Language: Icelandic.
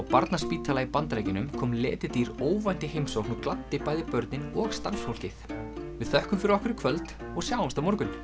barnaspítala í Bandaríkjunum kom letidýr óvænt í heimsókn og gladdi bæði börnin og starfsfólkið við þökkum fyrir okkur í kvöld og sjáumst á morgun